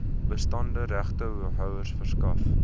bestaande regtehouers verskaf